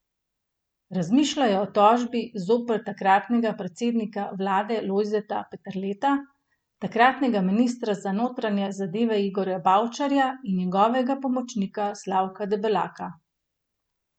Razmišljajo o tožbi zoper takratnega predsednika vlade Lojzeta Peterleta, takratnega ministra za notranje zadeve Igorja Bavčarja in njegovega pomočnika Slavka Debelaka.